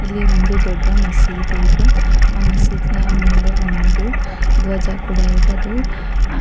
ಇಲ್ಲಿ ಒಂದು ದೊಡ್ಡ ಮಸೀದಿ ಇದೆ ಆ ಮಸೀದಿ ಮೇಲೆ ಒಂದು ಧ್ವಜ ಕೂಡ ಇದೆ ಅದು --